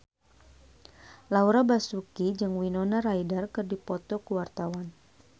Laura Basuki jeung Winona Ryder keur dipoto ku wartawan